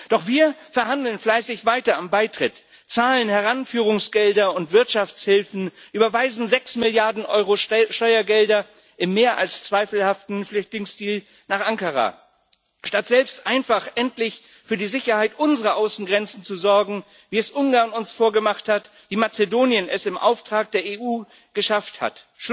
Doch wir verhandeln fleißig weiter am Beitritt, zahlen Heranführungsgelder und Wirtschaftshilfen, überweisen sechs Milliarden Euro Steuergelder im Rahmen des mehr als zweifelhaften Flüchtlingsdeals nach Ankara, statt selbst einfach endlich für die Sicherheit unserer Außengrenzen zu sorgen, wie es uns Ungarn vorgemacht hat, wie es Mazedonien im Auftrag der EU geschafft hat.